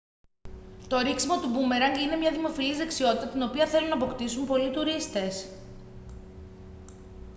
το ρίξιμο του μπούμερανγκ είναι μια δημοφιλής δεξιότητα την οποία θέλουν να αποκτήσουν πολλοί τουρίστες